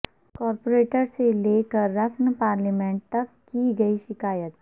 corporator سے لے کر رکن پارلیمنٹ تک کی گئی شکایت